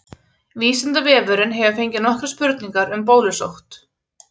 Vísindavefurinn hefur fengið nokkrar spurningar um bólusótt.